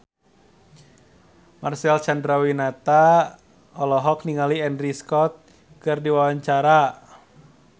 Marcel Chandrawinata olohok ningali Andrew Scott keur diwawancara